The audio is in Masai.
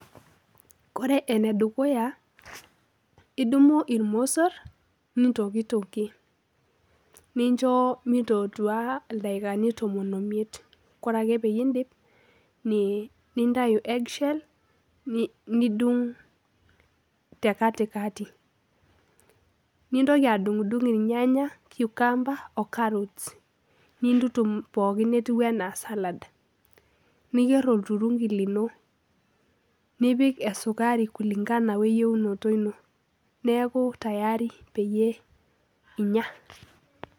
Ore enedukuya idumu irmosor ,nintokitokie ,nincho mitootua ildaikani tomon omiet , ore ake pindip , nintayu eggshell nidung tekatikati , nintoki adungdung irnyanya , cucumber , irnyanya ocaarrots , nintutum pookin netiu anaa salad, niyieu olturunki lino , nipik esukari kulingana weyieunoto ino , neaku tayari pee inya.